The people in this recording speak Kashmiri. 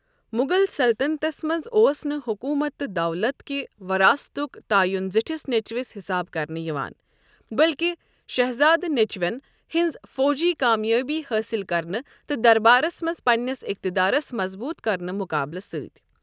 مُغل سلطنتس منٛز اوس نہٕ حُکوٗمت تہٕ دَولَت کہِ وراثتک تعیُن زِٹِھس نیٚچِوِس حِسابہٕ کرنہٕ یِوان، بٔلکہِ شہزادٕ نیچِوین ہِنٛزِ فوجی کامیٲبِیہِ حٲصِل کرنہٕ تہٕ دربارس منٛز پنٛنِس اِقتِدارس مضبوٗط كرنٕکہ مُقابلہٕ سٕتہۍ ۔